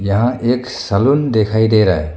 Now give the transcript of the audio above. यहां एक सैलून दिखाई दे रहा है।